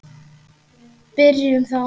Byrjum þá.